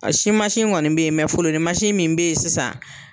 A si mansi kɔni bɛ yen fololi mansi min bɛ yen sisan.